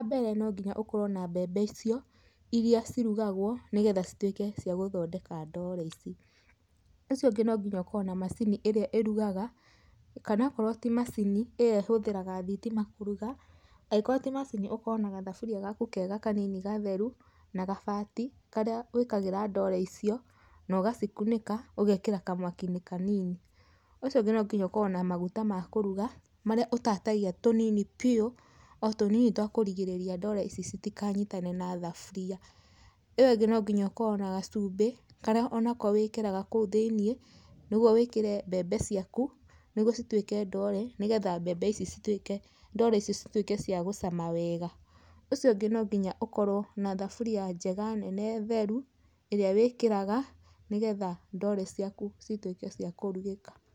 Wambere no nginya ũkorwo na mbembe icio, iria cirugagwo nĩgetha cituĩke cia gũthondeka ndoore ici. Ũndũ ũcio ũngĩ nonginya ũkorwo na macini ĩrĩa ĩrugaga kana akorwo ti macini ĩyo ĩhũthĩraga thitima kũruga, angĩkorwo ti macini, ũkorwo na gathaburia gaku kega gatheru na gabati, karĩa wĩkagĩra ndoore icio nogacikunĩka ũgekĩra kamwaki-inĩ kanini. Ũcio ũngĩ nonginya ũkorwo na maguta ma kũruga, marĩa ũtatagia tũnini biũ, o tũnini twa kũrigĩrĩria ndoore ici citikanyitane na thaburia. Ĩyo ĩngĩ nonginya ũkorwo na gacubĩ, karĩa onako wĩkĩraga kũu thĩiniĩ nĩgwo wĩkĩre mbembe ciaku, nĩgwo cituĩke ndoore nĩgetha mbembe ici cituĩke, ndoore ici cituĩke cia gũcama wega. Ũcio ũngĩ nonginya ũkorwo na thaburia njega, nene theru, ĩrĩa wĩkĩraga nĩgethaa ndoore ciaku cituĩke cia kũrugĩka.